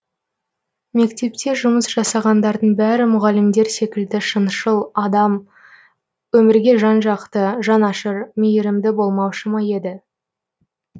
мектепте жұмыс жасағандардың бәрі мұғалімдер секілді шыншыл адал өмірге жан жақты жанашыр мейірімді болмаушы ма еді